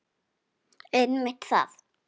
Einmitt það.